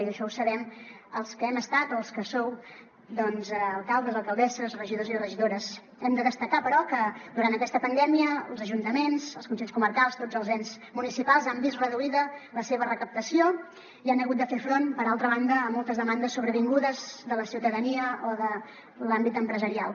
i això ho sabem els que hem estat o els que sou doncs alcaldes alcaldesses regidors i regidores hem de destacar però que durant aquesta pandèmia els ajuntaments els consells comarcals tots els ens municipals han vist reduïda la seva recaptació i han hagut de fer front per altra banda a moltes demandes sobrevingudes de la ciutadania o de l’àmbit empresarial